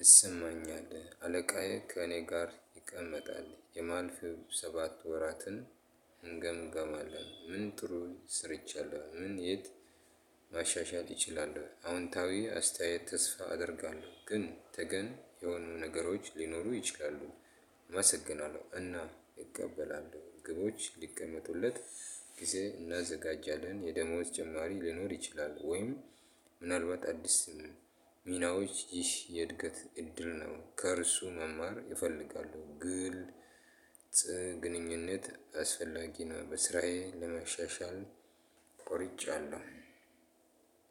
ይሰማኛለሁ አለቃዬ ከእኔ ጋር ይቀመጣል የማልፍ ሰባት ወራትን። እንገምገማለን ምን ጥሩ ስርቻለሁ ምን የት ማሻሻል ይችላል? አዎንታዊ አስተያየት ተስፋ አደርጋለሁ ግን ተገን የሆኑ ነገሮች ሊኖሩ ይችላሉ። አመሰግናለሁ እና ይቀበላሉ ግቦች ሊቀመጡለት ጊዜ እናዘጋጃለን የደሞዝ ጭማሪ ሊኖር ይችላል። ወይም ምናልባት አዲስ ሚናዎች ይህ የእድገት እድል ነው። ከእርሱ መማር ይፈልጋሉ ግልጽ ግንኙነት አስፈላጊ ነው። በስራዬ ለመሸሻል ቆርጫለሁ።